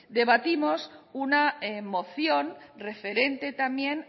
debatimos una moción referente también